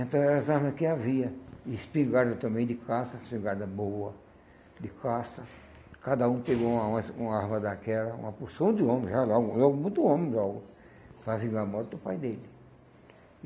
Então, era as armas que havia, espingarda também de caça, espingarda boa de caça, cada um pegou uma uma es uma arma daquela, uma porção de homem, já lá, muitos homens logo, para vingar a morte do pai dele.